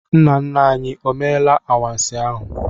Nna nna anyị e meela anwansi ahụ?